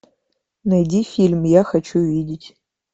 найди фильм я хочу видеть